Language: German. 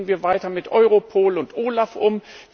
Aber wie gehen wir weiter mit Europol und OLAF um?